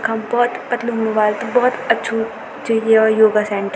यखम बहौत पतलू मोबाइल त बहौत अछू च यो योगा सेण्टर ।